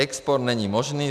Export není možný.